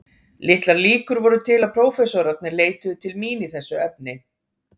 Litlar líkur voru til að prófessorarnir leituðu til mín í þessu efni.